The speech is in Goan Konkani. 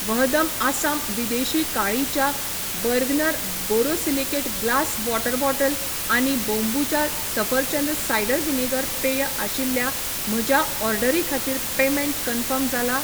वहदम आसाम विदेशी काळी च्या, Bergner borosilicate glass water bottle आनी बोंबुचा सफरचंद सायडर व्हिनेगर पेय आशिल्ल्या म्हज्या ऑर्डरी खातीर पेमेंट कन्फर्म जाला ?